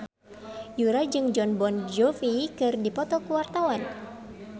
Yura jeung Jon Bon Jovi keur dipoto ku wartawan